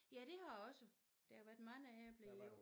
Ja det har også der har været mange æbler i år